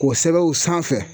K'o sɛbɛn u sanfɛ